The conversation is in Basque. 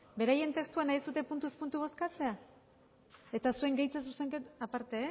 beraien testua nahi duzue puntuz puntu bozkatzea eta zuen gehitze zuzenketa aparte